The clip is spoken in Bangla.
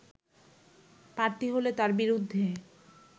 প্রার্থী হলে তার বিরুদ্ধে